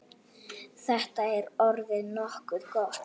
Þetta er orðið nokkuð gott.